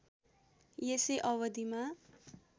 यसै अवधिमा